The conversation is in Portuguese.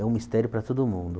É um mistério para todo mundo.